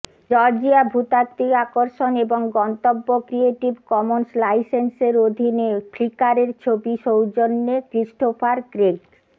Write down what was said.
Georgia ভূতাত্বিক আকর্ষণ এবং গন্তব্য ক্রিয়েটিভ কমন্স লাইসেন্সের অধীনে ফ্লিকারের ছবি সৌজন্যে ক্রিস্টোফার ক্রেগ